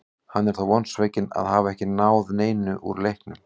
Hann er þó vonsvikinn að hafa ekki náð neinu úr leiknum.